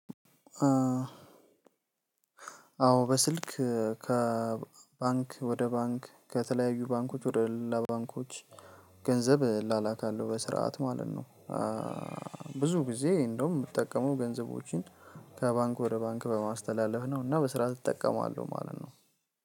አዎ በስልክ ከባንክ ወደ ባንክ ከተለያዩ ባንኮች ወደ ሌላ ባንኮች ገንዘብ እላላካለሁ በስርዓት ማለት ነው። ብዙ ጊዜ እንደውም ምጠቀመው ገንዘቦችን ከባንክ ወደ ባንክ በማስተላለፍ ነው እና በስርዓት እጠቀማለሁ ማለት ነው።